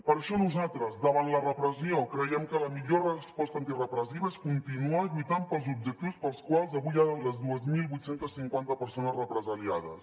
per això nosaltres davant la repressió creiem que la millor resposta antirepressiva és continuar lluitant pels objectius pels quals avui hi ha les dos mil vuit cents i cinquanta persones represaliades